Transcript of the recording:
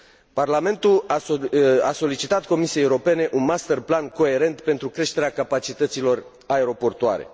Parlamentul a solicitat Comisiei Europene un master plan coerent pentru creșterea capacităților aeroportuare.